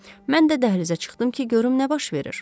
Mən də dəhlizə çıxdım ki, görüm nə baş verir.